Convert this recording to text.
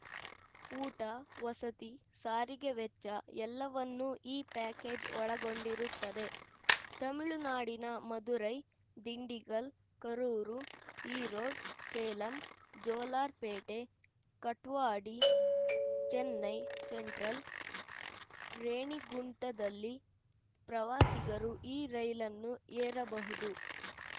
ಊಟ ವಸತಿ ಸಾರಿಗೆ ವೆಚ್ಚ ಎಲ್ಲವನ್ನೂ ಈ ಪ್ಯಾಕೇಜ್‌ ಒಳಗೊಂಡಿರುತ್ತದೆ ತಮಿಳುನಾಡಿನ ಮದುರೈ ದಿಂಡಿಗಲ್‌ ಕರೂರು ಈರೋಡ್‌ ಸೇಲಂ ಜೋಲಾರ್‌ಪೇಟೆ ಕಾಟ್ವಡಿ ಚೆನ್ನೈ ಸೆಂಟ್ರಲ್‌ ರೇಣಿಗುಂಟದಲ್ಲಿ ಪ್ರವಾಸಿಗರು ಈ ರೈಲನ್ನು ಏರಬಹುದು